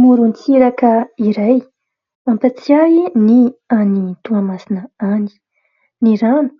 Morontsiraka iray mampatsiahy ny any Toamasina any. Ny rano